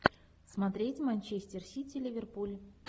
смотреть манчестер сити ливерпуль